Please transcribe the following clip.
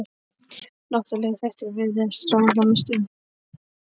Náttúrulegir þættir virðast ráða þar mestu um.